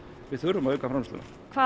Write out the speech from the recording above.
við þurfum að auka framleiðsluna hvað